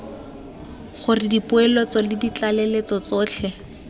gore dipoeletso le ditlaleletso tsotlhe